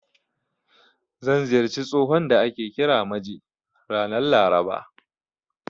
Zan ziyarci tsohon da ake kira Maje, ranar Laraba.